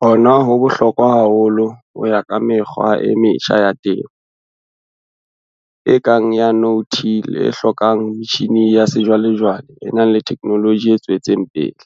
Hona ho bohlokwa haholo ho ya ka mekgwa e metjha ya temo, e kang ya no-till e hlokang metjhine ya sejwalejwale e nang le theknoloji e tswetseng pele,